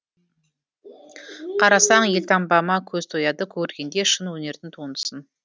қарасаң елтаңбама көз тояды көргендей шын өнердің туындысын